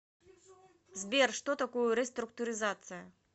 сбер что такое реструктуризация